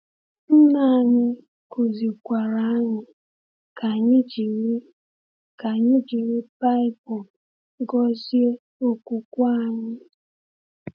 Nna anyị kụzikwara anyị ka anyị jiri ka anyị jiri Baịbụl gọzie okwukwe anyị.